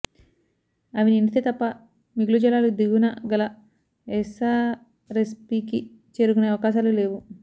అవి నిండితే తప్ప మిగులు జలాలు దిగువన గల ఎస్సారెస్పీకి చేరుకునే అవకాశాలు లేవు